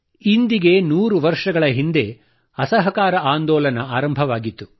ಇಂದಿನಿಂದ 100 ವರ್ಷ ಹಿಂದೆ ಅಸಹಕಾರ ಆಂದೋಲನ ಆರಂಭವಾಗಿತ್ತು